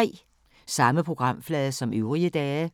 Samme programflade som øvrige dage